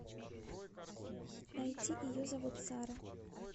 найти ее зовут сара